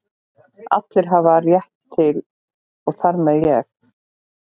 Allir hafa rétt á að vera til og þar með ég.